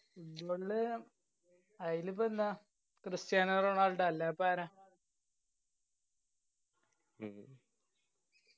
football ല് ആയിലിപ്പോ എന്താ ക്രിസ്റ്റിയാനോ റൊണാൾഡോ അല്ലായ്‌പ്പോ ആരാ